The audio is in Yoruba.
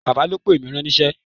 Bàbá ló pè mí ránníṣẹ́